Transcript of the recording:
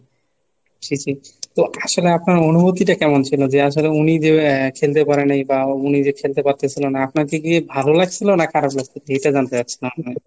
জি জি , তো আসলে আপনার অনুভূতিটা কেমন ছিল? যে আসলে উনি যে আহ খেলতে পারে নাই বা উনি যে খেলতে পারতেছিল না। আপনাকে কি ভালো লাগছিল না খারাপ লাগছে? এটা জানতে চাচ্ছিলাম আমি।